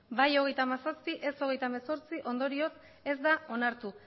bai hogeita hamazazpi ez hogeita hemezortzi ondorioz ez da onartu